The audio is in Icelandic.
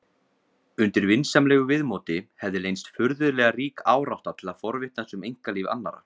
Undir vinsamlegu viðmóti hefði leynst furðulega rík árátta til að forvitnast um einkalíf annarra.